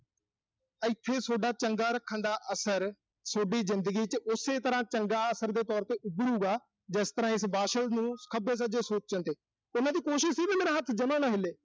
ਇਥੇ ਸੋਡਾ ਚੰਗਾ ਰੱਖਣ ਦਾ ਅਸਰ, ਸੋਡੀ ਜ਼ਿੰਦਗੀ ਚ ਉਸੇ ਤਰ੍ਹਾਂ ਚੰਗੇ ਅਸਰ ਦੇ ਤੌਰ ਤੇ ਉੱਭਰੂਗਾ, ਜਿਸ ਤਰ੍ਹਾਂ ਇਸ ਵਾਸ਼ਲ ਨੂੰ ਖੱਬੇ-ਸੱਜੇ ਸੋਚਣ ਚ ਤੇ ਉਨ੍ਹਾਂ ਦੀ ਕੋਸ਼ਿਸ਼ ਸੀ ਵੀ ਵੀ ਮੇਰਾ ਹੱਥ ਜਮਾ ਨਾ ਹਿੱਲੇ।